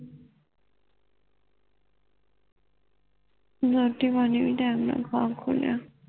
ਰੋਟੀ ਪਾਣੀ ਵੀ time ਤੂੰ ਨਾਲ ਖਾ ਕਹੁ ਲਿਆ